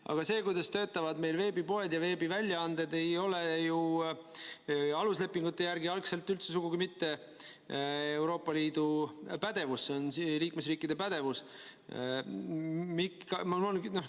Aga see, kuidas töötavad meil veebipoed ja veebiväljaanded, ei ole ju aluslepingute järgi algselt üldse mitte Euroopa Liidu pädevus, see on liikmesriikide pädevus.